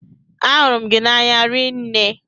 Ahụrụ m gị n'anya rinne.